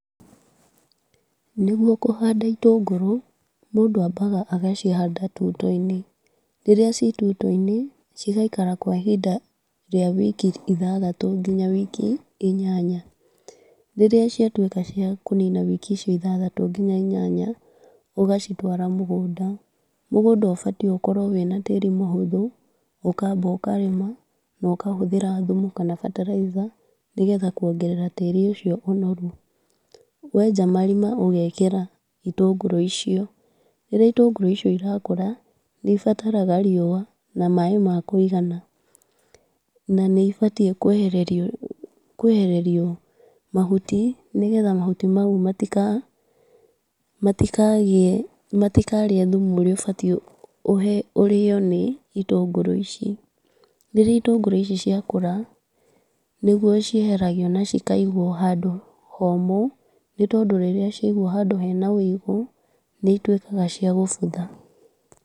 Nĩguo kũhanda itũngũrũ, mũndũ ambaga agacihanda tũito-inĩ, rĩrĩa ci tũito-inĩ cigaikara kwa ihinda rĩa wiki ithathatũ nginya wiki inyanya, rĩrĩa ciatwĩka cia kũnina wiki icio ithathatũ nginya inyanya, ũgacitwara mũgũnda, mũgũnda ũbatiĩ gũkorwo wĩna tĩri mũhũthũ, ũkamba ũkarĩma na ũkahũthĩra thumu kana bataraitha, nĩgetha kwongerera tĩri ũcio ũnoru, wenja marima ũgekĩra itũngũrũ icio, rĩrĩa itũngũrũ icio irakũra nĩ ibatarga riũa na maaĩ makũigana , na nĩ ibatiĩ kwehererio , kwehererio mahuti , nĩgetha mahuti mau matika matikagĩe matikarĩe thumu ũrĩa ũbatiĩ ũhe ũrĩo nĩ itũngũrũ ici , rĩrĩa itũngũrũ ici ciakũra, nĩguo cieheragio na cikaigwo handũ homũ , no tondũ rĩrĩa ciagwo handu hena wũigũ nĩ itwĩkaga cia gũbutha.